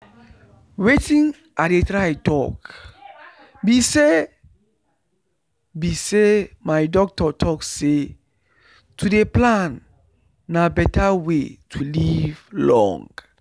wetin i dey try talk be say be say my doctor talk say to dey plan na beta way to live long